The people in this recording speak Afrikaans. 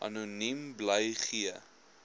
anoniem bly gee